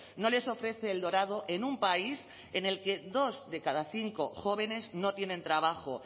no les ofrece el dorado en un país en el que dos de cada cinco jóvenes no tienen trabajo